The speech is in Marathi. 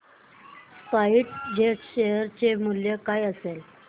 स्पाइस जेट शेअर चे मूल्य काय असेल